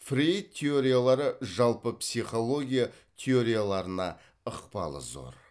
фрейд теориялары жалпы психология теорияларына ықпалы зор